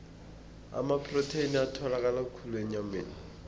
amaprotheni atholakala khulu enyameni